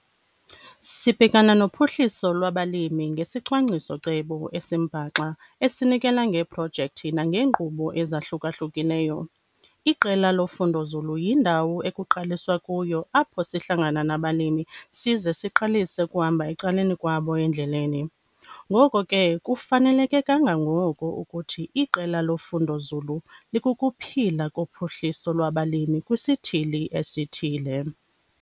Sibhekana nophuhliso lwabalimi ngesicwangciso-cebo esimbaxa esinikela ngeeprojekthi nangeenkqubo ezahluka-hlukileyo. Iqela lofundonzulu yindawo ekuqaliswa kuyo apho sihlangana nabalimi size siqalise ukuhamba ecaleni kwabo endleleni. Ngoko ke, kufaneleke kangangoko ukuthi iqela lofundonzulu likukuphila kophuhliso lwabalimi kwisithili esithile.